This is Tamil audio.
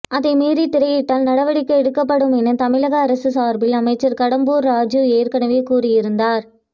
அதை மீறி திரையிட்டால் நடவடிக்கை எடுக்கப்படும் என தமிழக அரசு சார்பில் அமைச்சர் கடம்பூர் ராஜூ ஏற்கனவே கூறியிருந்தார்